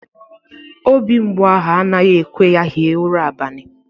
Obi mgbu ahụ anaghi ekwe ya hie ura abani.